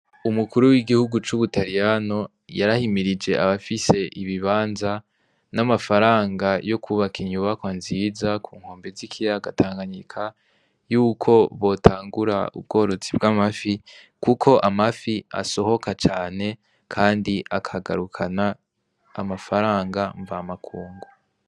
Umukuru w'igihugu c'ubutayyano yarahimirije abafise ibibanza n'amafaranga yo kwubaka inyubako nziza ku nkombe z'ikiya gatanganyika yuko botangura ubworozi bw'amafi, kuko amafi asohoka cane, kandi akagarukana amafaranga mva makungu.